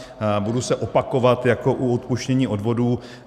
Budu se opakovat jako u odpuštění odvodů.